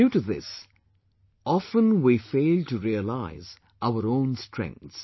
Due to this, often we fail to realise our own strengths